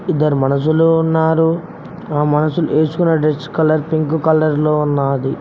ఇద్దరు మనుసులు ఉన్నారు ఆ మనుసులు ఏసుకున్న డ్రెస్ కలర్ పింక్ కలర్ లో ఉన్నాది.